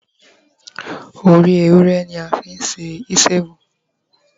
ori ewúrẹ ni a fi se isiewu